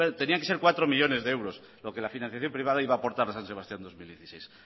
tenían que ser cuatro millónes de euros lo que la financiación privada iba a aportar a san sebastián dos mil dieciséis